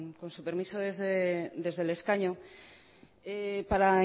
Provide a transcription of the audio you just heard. con su permiso desde el escaño para